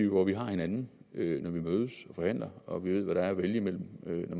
hvor vi har hinanden når vi mødes og forhandler og vi ved hvad der er at vælge mellem når